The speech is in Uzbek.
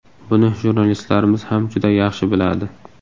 Buni jurnalistlarimiz ham juda yaxshi biladi.